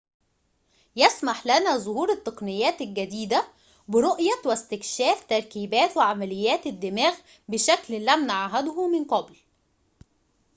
يسمح لنا ظهور التقنيات الجديدة برؤية واستكشاف تركيبات وعمليات الدماغ بشكل لم نعهده من قبل